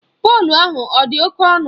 Plọgu ahụ ọ dị oké ọnụ?